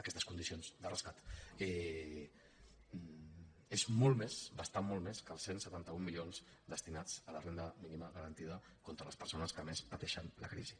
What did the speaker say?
aquestes condicions de rescat és molt més bastant molt més que els cent i setanta un milions destinats a la renda mínima garantida a les persones que més pateixen la crisi